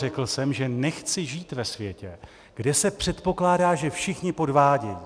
Řekl jsem, že nechci žít ve světě, kde se předpokládá, že všichni podvádějí.